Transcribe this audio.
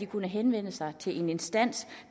kunne henvende sig til en instans